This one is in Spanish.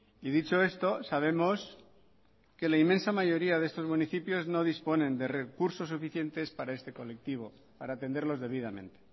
y dicho esto sabemos que la inmensa mayoría de estos municipios no disponen de recursos suficientes para este colectivo para atenderlos debidamente